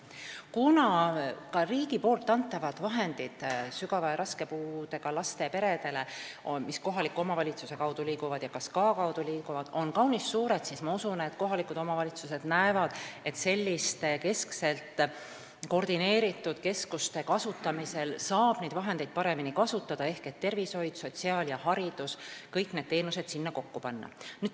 Kuna riigi antavad vahendid sügava ja raske puudega laste peredele, mis kohaliku omavalitsuse ja ka SKA kaudu liiguvad, on kaunis suured, siis ma usun, et kohalikud omavalitsused näevad, et selliste keskselt koordineeritud keskuste kaudu saab raha paremini kasutada ehk kõik tervishoiu-, sotsiaal- ja haridusteenused sinna kokku panna.